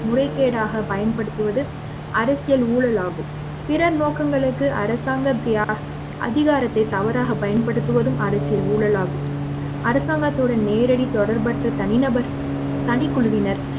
முறைகேடாக பயன்படுத்துவது அரசியல் ஊழலாகும் பிறர் நோக்கங்களுக்கு அரசாங்கத்தை அதிகாரத்தை தவறாக பயன்படுத்துவதும் அரசியல் ஊழலாகும் அரசாங்கத்துடன் நேரடி தொடர்பற்ற தனி தனிநபர் தனிக்குழுவினர்